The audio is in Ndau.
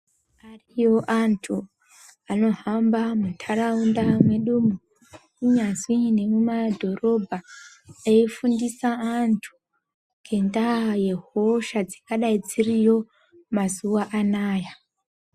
Ariyo antu anohamba munharaunda mwedumwo kunyazwi nemumadhorobha eifundisa antu ngendaa dzehosha dzingadayi dziriyo mazuwa anaa.